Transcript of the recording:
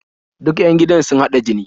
Duk 'yan gidan sun haɗa jini